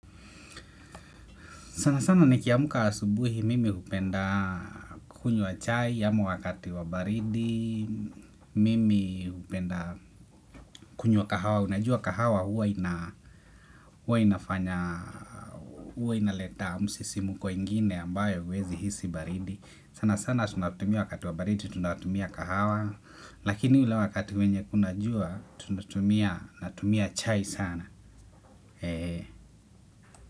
Sana sana nikiamka asubuhi mimi hupenda kunywa chai, ama wakati wa baridi, mimi hupenda kunywa kahawa, unajua kahawa huwa inafanya, huwa inaleta msisimko ingine ambayo huwezi hisi baridi. Sana sana tunatumia wakati wa baridi, tunatumia kahawa, lakini ule wakati wenye kuna jua, tunatumia, natumia chai sana.